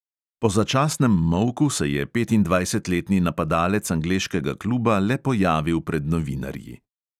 Po začasnem molku se je petindvajsetletni napadalec angleškega kluba le pojavil pred novinarji.